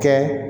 Kɛ